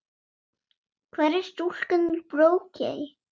Hvar var stúlkan úr Brokey?